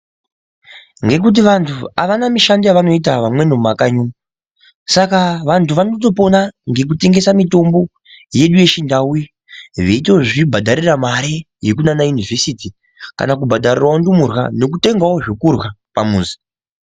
Ngekuti vantu avana mishando yavanoita mumakanyi umu saka vantu vanotopona ngekutengesa mitombo yedu yachindau iyi veitozvibhadharira mari yekumayunivhesiti kana kubhadharirawo ndumurwa nekutengawo zvekurya pamuzi.